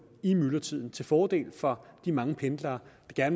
i myldretiden til fordel for de mange pendlere der